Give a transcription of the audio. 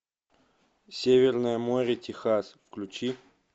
северное море техас включи